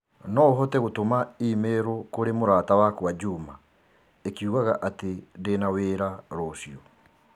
no ũhote gũtũma i-mīrū kũrĩ mũrata wakwa Juma ĩkiugaga atĩ ndĩ na wĩra rũciũ